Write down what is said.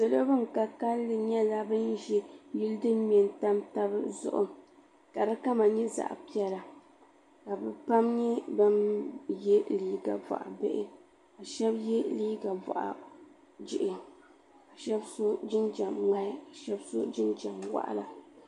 Salo ban ka kalli nyɛla ban ʒi yili din tam taba zuɣu ka fi kama nyɛ zaɣa piɛla la bɛ pam nyɛ ban ye liiga boɣa bihi ka sheba ye liiga boɣa jihi ka sheba so jinjiɛm ŋmahi ka sheba so jinjiɛm waɣala.